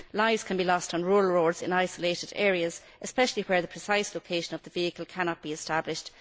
Lives can be lost on rural roads in isolated areas, especially where the precise location of the vehicle cannot be established.